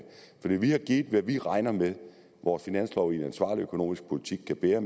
vi har givet hvad vi regner med at vores finanslov og en ansvarlig økonomisk politik kan bære